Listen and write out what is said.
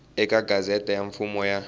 eka gazette ya mfumo ya